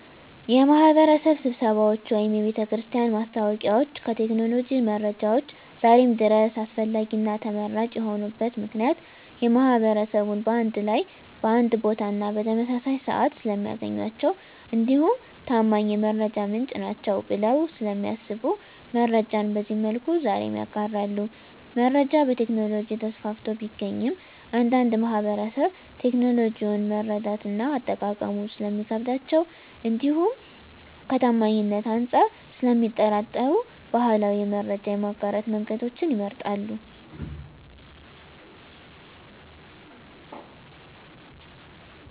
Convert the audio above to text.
የማህበረሰብ ስብሰባዎች ወይም የቤተክርስቲያን ማስታወቂያዎች ከቴክኖሎጂ መረጃዎች ዛሬም ድረስ አስፈላጊና ተመራጭ የሆኑበት ምክንያት ማህበረሰቡን በአንድ ላይ በአንድ ቦታና በተመሳሳይ ስዓት ስለሚያገኟቸው እንዲሁም ታማኝ የመረጃ ምንጭ ናቸዉ ብለው ስለሚያስቡ መረጃን በዚህ መልኩ ዛሬም ይጋራሉ። መረጃ በቴክኖሎጂ ተስፋፍቶ ቢገኝም አንዳንድ ማህበረሰብ ቴክኖሎጂውን መረዳትና አጠቃቀሙ ስለሚከብዳቸው እንዲሁም ከታማኝነት አንፃር ስለሚጠራጠሩ ባህላዊ የመረጃ የማጋራት መንገዶችን ይመርጣሉ።